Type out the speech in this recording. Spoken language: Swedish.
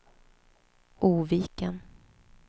Oviken